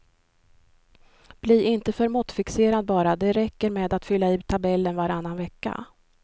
Bli inte för måttfixerad bara, det räcker med att fylla i tabellen varannan vecka.